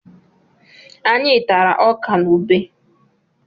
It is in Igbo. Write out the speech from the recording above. Anyị tara ọkà na ubé.